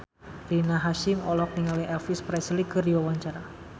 Rina Hasyim olohok ningali Elvis Presley keur diwawancara